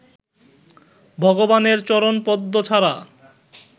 ভগবানের চরণপদ্ম ছাড়া